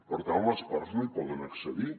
per tant les parts no hi poden accedir